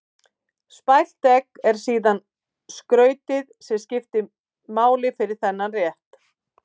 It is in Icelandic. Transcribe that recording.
Spælt egg er síðan skrautið sem skiptir máli fyrir þennan rétt.